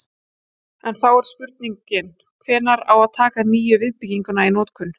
En þá er spurning hvenær á að taka nýju viðbygginguna í notkun?